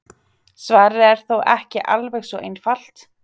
svarið er þó ekki alveg svo einfalt